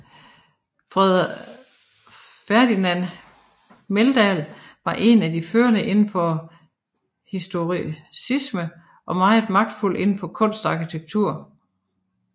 Ferdinand Meldahl var en af de førende indenfor historicismen og meget magtfuld indenfor kunsten og arkitekturen